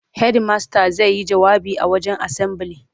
Hedimasta zai yi jawabi a wajen asambili.